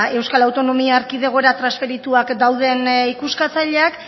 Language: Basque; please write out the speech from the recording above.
euskal autonomia erkidegora transferituak dauden ikuskatzaileak